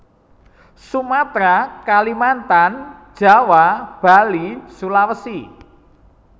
Sumatera Kalimantan Jawa Bali Sulawesi